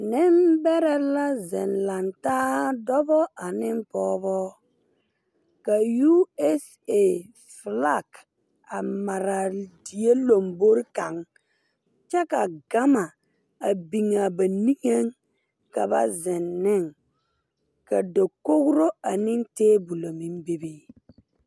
Nimbɛrɛ la zeŋ langtaa dɔbɔ ane pogebo ka usa flak a maraa die lombore kaŋ kyɛ ka gama a biŋaa ba niŋeŋ ka ba zeŋ neŋ ka dakogro ane teebulɔ meŋ bebe.